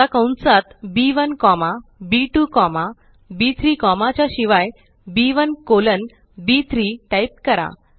आता कंसात B one comma B two comma बी3 कॉमा च्या शिवाय बी1 कोलन बी3 टाइप करा